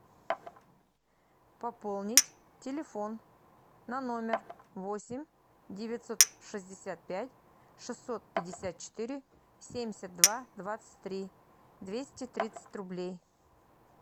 пополнить телефон на номер восемь девятьсот шестьдесят пять шестьсот пятьдесят четыре семьдесят два двадцать три двести тридцать рублей